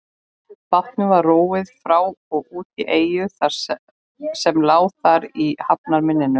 Bátnum var róið frá og út í eyju sem lá þar í hafnarmynninu.